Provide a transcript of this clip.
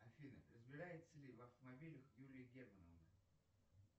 афина разбирается ли в автомобилях юлия германовна